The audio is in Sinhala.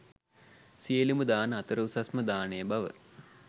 සියලුම දාන අතර උසස්ම දානය බව